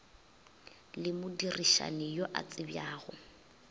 le modirišani yo a tsebjago